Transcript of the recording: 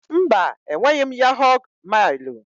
Mba, enweghị m yahọ̀g mailụ.